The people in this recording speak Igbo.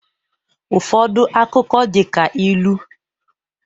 Ụfọdụ akụkọ dị ka ilu